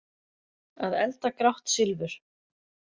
Að elda grátt silfur